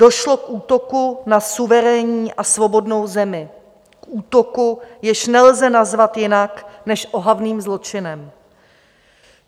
Došlo k útoku na suverénní a svobodnou zemi, k útoku, jež nelze nazvat jinak než ohavným zločinem.